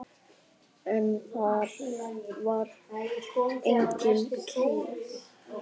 En þar var engin kerra.